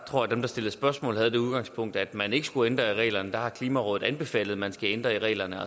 tror at dem der stillede spørgsmål havde det udgangspunkt at man ikke skulle ændre reglerne der har klimarådet anbefalet at man skal ændre reglerne